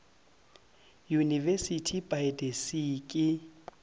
university by the sea ke